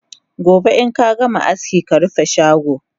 Gobe inkagama aski karufe shago!